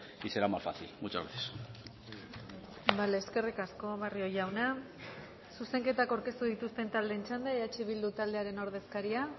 y será más fácil muchas gracias eskerrik asko barrio jauna zuzenketak aurkeztu dituzten taldeen txanda eh bildu taldearen ordezkaria